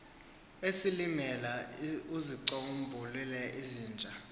esilimela uzicombulule izintya